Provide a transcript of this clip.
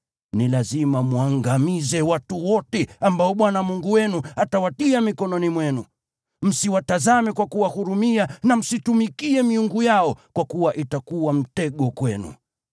Ni lazima mwangamize watu wote ambao Bwana Mungu wenu atawatia mikononi mwenu. Msiwatazame kwa kuwahurumia na msiitumikie miungu yao, kwa kuwa itakuwa mtego kwenu.